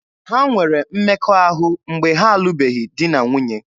Ha nwere mmekọahụ mgbe ha alụbeghị di na nwunye.